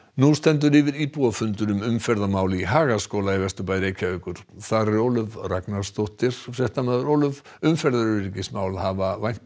nú stendur yfir íbúafundur um umferðarmál í Hagaskóla í Vesturbæ Reykjavíkur þar er Ólöf Ragnarsdóttir Ólöf umferðaröryggismál hafa væntanlega